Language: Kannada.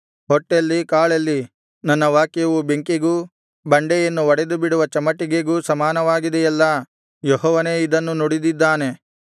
ಹೊಟ್ಟೆಲ್ಲಿ ಕಾಳೆಲ್ಲಿ ನನ್ನ ವಾಕ್ಯವು ಬೆಂಕಿಗೂ ಬಂಡೆಯನ್ನು ಒಡೆದುಬಿಡುವ ಚಮಟಿಗೆಗೂ ಸಮಾನವಾಗಿದೆಯಲ್ಲಾ ಯೆಹೋವನೇ ಇದನ್ನು ನುಡಿದಿದ್ದಾನೆ